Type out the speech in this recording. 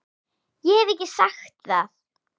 Ég hef ekki sagt það!